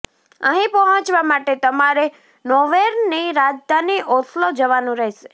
અહી પહોંચવા માટે તમારે નોર્વેની રાજધાની ઓસ્લો જવાનું રહેશે